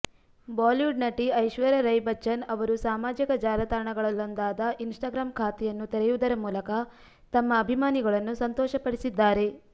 Bollywood ನಟಿ ಐಶ್ವರ್ಯ ರೈ ಬಚ್ಚನ್ ಅವರು ಸಾಮಾಜಿಕ ಜಾಲತಾಣಗಳಲ್ಲೊಂದಾದ ಇನ್ಸ್ಟಾಗ್ರಾಂ ಖಾತೆಯನ್ನು ತೆರೆಯುವುದರ ಮೂಲಕ ತಮ್ಮ ಅಭಿಮಾನಿಗಳನ್ನು ಸಂತೋಷಪಡಿಸಿದ್ದಾರೆ